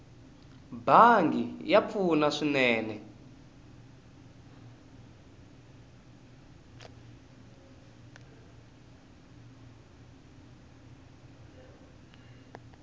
bangi ya pfuna swinene